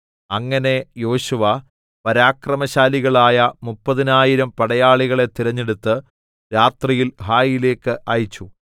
അങ്ങനെ യോശുവ പരാക്രമശാലികളായ മുപ്പതിനായിരം പടയാളികളെ തിരഞ്ഞെടുത്ത് രാത്രിയിൽ ഹായിയിലേക്ക് അയച്ചു